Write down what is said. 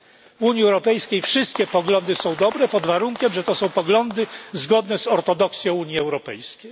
W Unii Europejskiej wszystkie poglądy są dobre, pod warunkiem że to są poglądy zgodne z ortodoksją Unii Europejskiej.